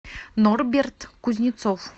норберт кузнецов